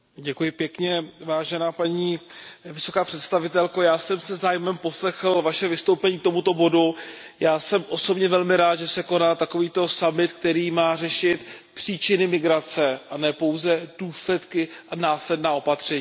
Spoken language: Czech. Paní předsedající, paní vysoká představitelko, já jsem si se zájmem poslechl Vaše vystoupení k tomuto bodu. Já jsem osobně velmi rád, že se koná takovýto summit, který má řešit příčiny migrace a nejenom důsledky a následná opatření.